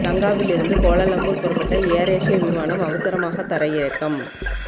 லங்காவியிலிருந்து Kuala Lumpur புறப்பட்ட AirAsia விமானம் அவசரமாக தரையிறக்கம்